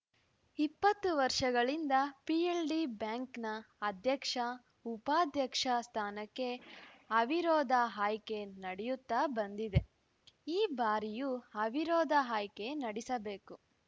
ಇಪ್ಪತ್ತು ವರ್ಷಗಳಿಂದ ಪಿಎಲ್‌ಡಿ ಬ್ಯಾಂಕಿನ ಅಧ್ಯಕ್ಷ ಉಪಾಧ್ಯಕ್ಷ ಸ್ಥಾನಕ್ಕೆ ಅವಿರೋಧ ಆಯ್ಕೆ ನಡೆಯುತ್ತಾ ಬಂದಿದೆ ಈ ಬಾರಿಯೂ ಅವಿರೋಧ ಆಯ್ಕೆ ನಡೆಸಬೇಕು